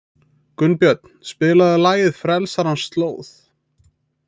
Gunnbjörn, spilaðu lagið „Frelsarans slóð“.